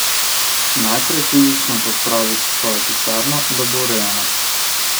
Najprej fizično pospravite svojo pisarno, da bo urejena.